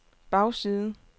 bagside